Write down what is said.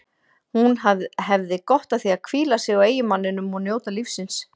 Hún hefði gott af að hvíla sig á eiginmanninum og njóta lífsins.